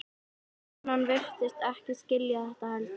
Konan virtist ekkert skilja þetta heldur.